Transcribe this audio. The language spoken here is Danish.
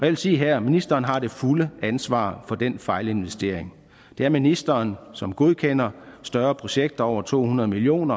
vil sige her at ministeren har det fulde ansvar for den fejlinvestering det er ministeren som godkender større projekter over to hundrede million